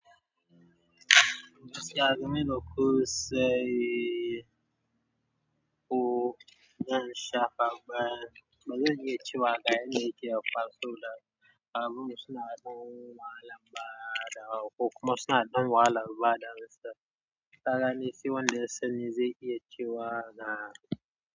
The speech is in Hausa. Gaskiya kaman yadda ku sai, ko zan sha ba zan iya cewa ga yadda yake ya kwaso la abubuwa suna ɗan wahalan badawa ko kuma suna ɗan wahalan bada gaskiya tsanani sai wanda ya sani zai iya cewa ga.